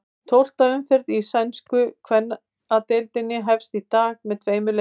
Tólfta umferð í sænsku kvennadeildinni hefst í dag með tveimur leikjum.